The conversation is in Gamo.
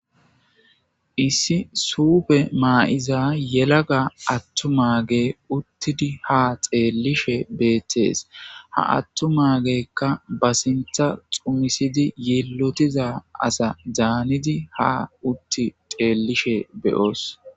Issi suufe maa'iza yelaga attu mage uttidi ha xeellishe beettees ha attu magekka ba sintha xumisidi yeelotiza asa daanidi ha utti xeellishe beyoos.